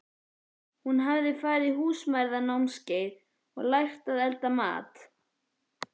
Hún hafði farið á Húsmæðranámskeið og lært að elda mat.